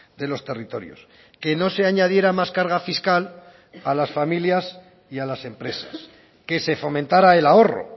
de los territorios que no se añadiera más carga fiscal a las familias y a las empresas que se fomentara el ahorro